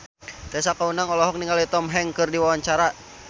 Tessa Kaunang olohok ningali Tom Hanks keur diwawancara